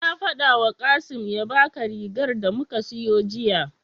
Na faɗawa Kasim ya baka rigar da muka siyo jiya.